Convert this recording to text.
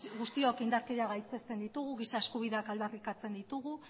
guztiak indarkeria gaitzesten ditugu giza eskubideak aldarrikatzen ditugu